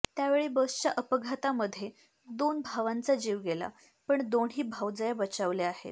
त्यावेळी बसच्या अपघातामध्ये दोन भावांचा जीव गेला पण दोन्ही भावजया बचावल्या आहेत